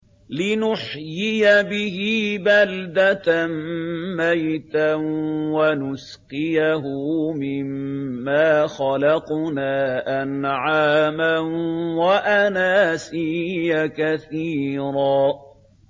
لِّنُحْيِيَ بِهِ بَلْدَةً مَّيْتًا وَنُسْقِيَهُ مِمَّا خَلَقْنَا أَنْعَامًا وَأَنَاسِيَّ كَثِيرًا